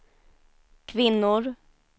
kvinnor